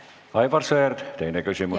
Aivar Sõerd, teine küsimus.